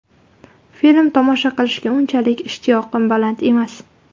Film tomosha qilishga unchalik ishtiyoqim baland emas.